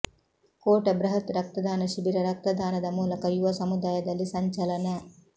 ಕೋಟ ಬೃಹತ್ ರಕ್ತದಾನ ಶಿಬಿರ ರಕ್ತದಾನದ ಮೂಲಕ ಯುವ ಸಮುದಾಯದಲ್ಲಿ ಸಂಚಲನ